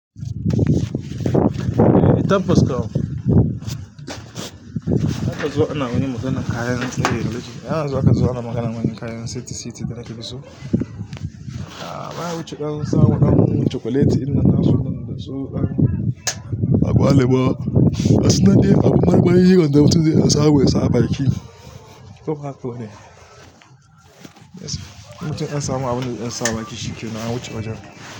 Eh, tabbas kam. Haka zuwa ana wani maganan kayan tsaye. Yana zuwa haka zuwa maganan wani kayan siti siti da nake so. A baya wuce dan sawa dan cokuleti idan nasu man da so an A gwaliba. Gasunan de abun marmari wan da mutum zai dan samu ya sa a baki. Kuka ko ne. Mtum inya samu abunda zai sa a baki, shikenan an wuce wajen.